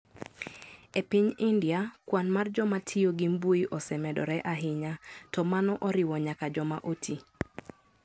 E piny India, kwan mar joma tiyo gi mbui osemedore ahinya, to mano oriwo nyaka joma oti.